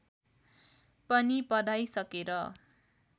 पनि पढाइ सकेर